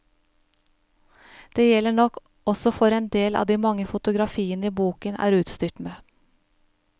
Det gjelder nok også for en del av de mange fotografiene boken er utstyrt med.